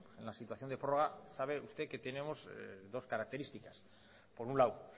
en la situación de prórroga sabe usted que tenemos dos características por un lado